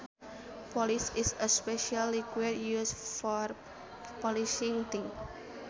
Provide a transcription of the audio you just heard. Polish is a special liquid used for polishing things